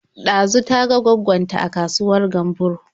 Ɗazu ta ga gwaggon ta a kasuwar Gamburo.